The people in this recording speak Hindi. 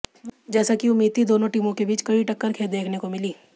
जैसा की उम्मीद थी दोनों टीमों के बीच कड़ी टक्कर देखने को मिली